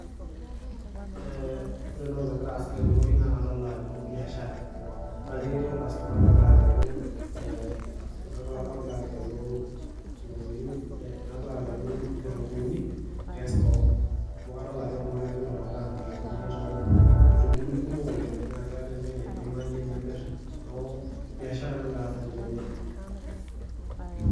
Ee ore entoki nagira aasa tenewuei naa kadolta biashara, adolta ajo ketii orkastomai logira agelu , ee logira ageu ntokitin ee logira agelu nkitunkuni testock amu kadol ajo oltungani ele lomirita nkitunguni too , nkitunkuni kumok oleng naa keeta entoki naipimayie pemir , niaku biashara nagira aasa tenewuei .